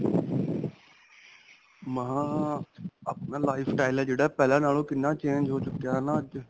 ਅਅ ਆਪਣਾ lifestyle ਹੈ ਜਿਹੜਾ, ਪਹਿਲਾਂ ਨਾਲੋ ਕਿੰਨਾ change ਹੋ ਚੁੱਕਿਆ ਹੈ ਨਾ ਅੱਜ.?